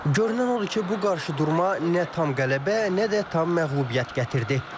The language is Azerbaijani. Görünən odur ki, bu qarşıdurma nə tam qələbə, nə də tam məğlubiyyət gətirdi.